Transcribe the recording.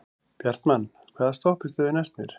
Bjartmann, hvaða stoppistöð er næst mér?